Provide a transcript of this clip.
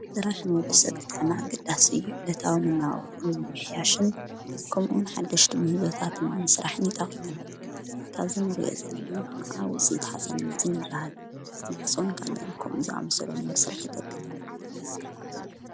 ስራሕ ንወዲ ሰብ ብጣዕሚ ኣገዳሲ ዕለታዊ መናባብሩኡ ንምምሕያሽን ከምኡን ሓድሽቲ ምህዞታት ንምስራሕን ይጠቕም። ካብዚ እንርእዩ ዘለና ከዓ ውፅኢት ሓፂንመፂን ይበሃል። ማዕጾን ካሊእን ከም ዝኣምሰሉን ንምስራሕ ይጠቅም።